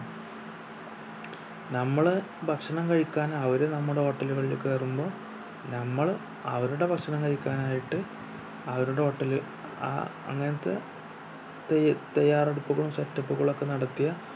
നമ്മള് ഭക്ഷണം കഴിക്കാൻ അവര് നമ്മുടെ hotel കളില് കയറുമ്പോ നമ്മള് അവരുടെ ഭക്ഷണം കഴിക്കാൻ ആയിട്ട് അവരുടെ hotel ഏർ അങ്ങനത്തെ തയ്യ തയ്യാറെടുപ്പും set up കളും ഒക്കെ നടത്തിയ